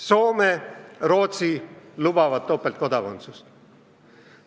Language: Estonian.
Soome ja Rootsi lubavad topeltkodakondsust.